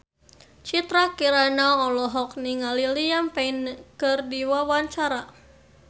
Citra Kirana olohok ningali Liam Payne keur diwawancara